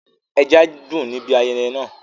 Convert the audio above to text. ẹja dùn níbi ayẹyẹ náà.